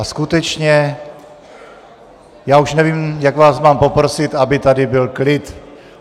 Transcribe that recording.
A skutečně, já už nevím, jak vás mám poprosit, aby tady byl klid.